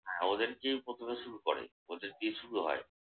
হ্যাঁ ওদেরকেই প্রথমে শুরু করে। ওদের দিয়েই শুরু হয়।